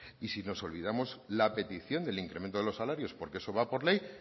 y si nos olvidamos la petición del incremento de los salarios porque eso va por ley